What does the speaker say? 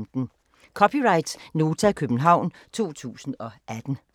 (c) Nota, København 2018